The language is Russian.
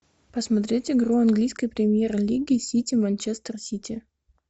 посмотреть игру английской премьер лиги сити манчестер сити